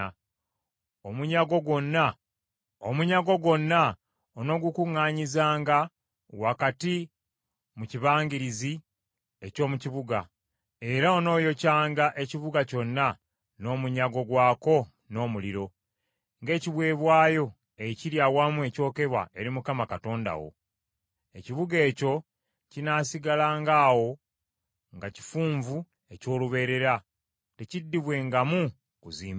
Omunyago gwonna onoogukuŋŋaanyizanga wakati mu kibangirizi eky’omu kibuga, era onooyokyanga ekibuga kyonna n’omunyago gwako n’omuliro, ng’ekiweebwayo ekiri awamu ekyokebwa eri Mukama Katonda wo. Ekibuga ekyo kinaasigalanga awo nga kifunvu eky’olubeerera, tekiddibwengamu kuzimbibwa.